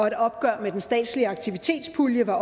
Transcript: et opgør med den statslige aktivitetspulje var